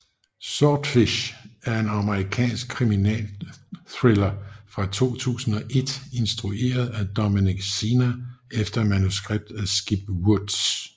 Swordfish er en amerikansk kriminalthriller fra 2001 instrueret af Dominic Sena efter manuskript af Skip Woods